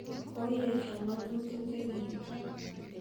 Koyesio ng'otutiik chegigigoo.